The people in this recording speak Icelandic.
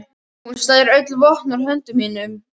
Hún slær öll vopn úr höndum mínum.